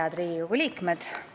Head Riigikogu liikmed!